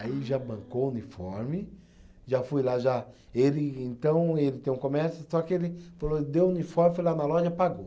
Aí já bancou o uniforme, já fui lá já, ele então ele tem um comércio, só que ele falou, deu o uniforme, foi lá na loja e pagou.